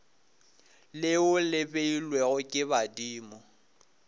leo le beilwego ke badimo